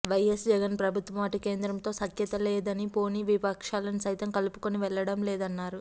YS Jagan ప్రభుత్వం అటు కేంద్రంతో సఖ్యతగా లేదని పోనీ విపక్షాలను సైతం కలుపుకుని వెళ్లడం లేదన్నారు